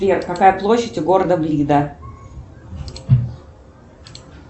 сбер какая площадь у города блида